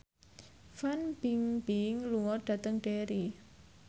Fan Bingbing lunga dhateng Derry